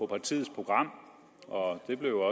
partiets program og det blev